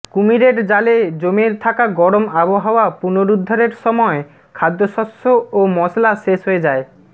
কুমিরের জালে জমে থাকা গরম আবহাওয়া পুনরুদ্ধারের সময় খাদ্যশস্য ও মশলা শেষ হয়ে যায়